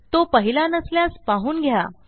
तो पाहिला नसल्यास पाहून घ्या